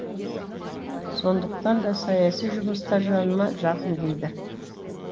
сондықтан да саяси жұмыстар жаныма жақын дейді